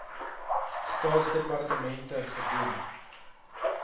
staatsdepartemente gedoen n